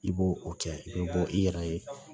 I b'o o kɛ i be bɔ i yɛrɛ ye